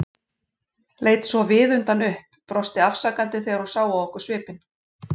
Leit svo viðutan upp, brosti afsakandi þegar hún sá á okkur svipinn.